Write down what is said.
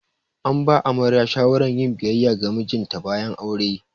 An ba amaryar shawaran yin biyayya ga mijinta bayan aure.